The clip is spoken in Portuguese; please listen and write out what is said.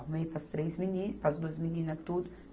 Arrumei para as três meninas, para as duas meninas tudo.